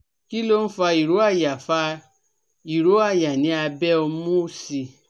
Kí ló ń fa ìró àyà fa ìró àyà ní abẹ́ omu òsì?